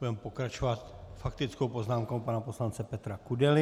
Budeme pokračovat faktickou poznámkou pana poslance Petra Kudely.